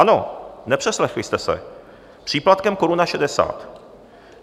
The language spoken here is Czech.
Ano, nepřeslechli jste se, příplatkem koruna šedesát.